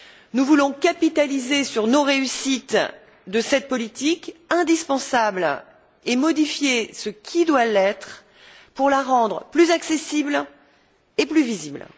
Nous voulons capitaliser sur nos réussites dans le cadre de cette politique indispensable et modifier ce qui doit l'être pour la rendre plus accessible et plus visible.